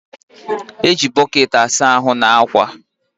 E ji bọkeetị asa ahụ na akwa.